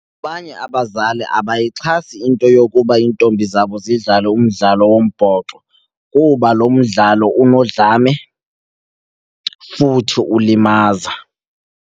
Abanye abazali abayixhasi into yokuba iintombi zabo zidlale umdlalo wombhoxo kuba lo mdlalo unodlame futhi ulimaza.